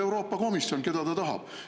Euroopa Komisjon otsustab, keda ta tahab.